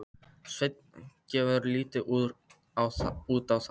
Svenni gefur lítið út á það.